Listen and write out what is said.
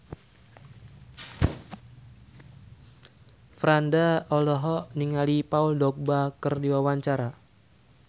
Franda olohok ningali Paul Dogba keur diwawancara